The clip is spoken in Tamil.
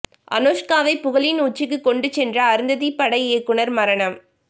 அனுஷ்காவை புகழின் உச்சிக்கு கொண்டு சென்ற அருந்ததி பட இயக்குநர் மரணம்